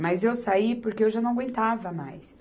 Mas eu saí porque eu já não aguentava mais.